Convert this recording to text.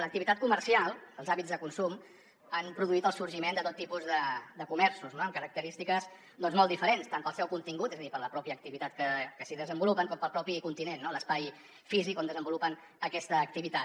l’activitat comercial els hàbits de consum han produït el sorgiment de tot tipus de comerços amb característiques molt diferents tant pel seu contingut és a dir per la mateixa activitat que s’hi desenvolupa com pel propi continent no l’espai físic on desenvolupa aquesta activitat